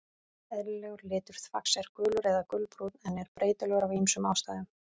Eðlilegur litur þvags er gulur eða gulbrúnn en er breytilegur af ýmsum ástæðum.